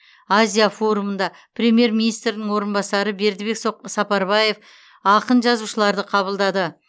азия форумында премьер министрдің орынбасары бердікбек сапарбаев ақын жазушыларды қабылдады